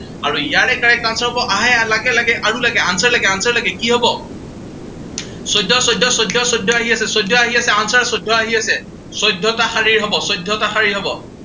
আৰু ইয়াৰে correct answer হব, আহ লাগে লাগে আৰু লাগে, answer লাগে, answer লাগে। কি হব, চৈধ্য চৈধ্য চৈধ্য চৈধ্য আহি আছে, চৈধ্য আহি আছে, answer চৈধ্য আহি আছে, চৈধ্যটা শাৰীৰ হব, চৈধ্যটা শাৰীৰ হব।